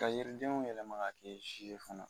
Ka yiridenw yɛlɛma ka kɛ zi ye fana.